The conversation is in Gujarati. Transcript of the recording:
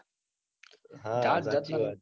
હા સાચી વાત.